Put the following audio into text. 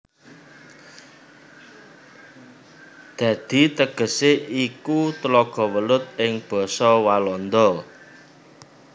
Dadi tegesé iku Tlaga Welut ing basa Walanda